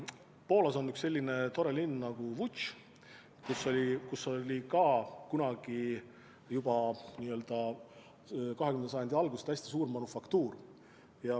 Poolas on selline tore linn nagu Łódz, kus oli ka kunagi, juba 20. sajandi alguses hästi suur manufaktuur.